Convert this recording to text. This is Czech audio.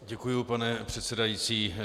Děkuji, pane předsedající.